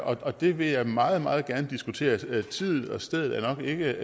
og det vil jeg meget meget gerne diskutere tiden og stedet er nok ikke